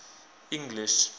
english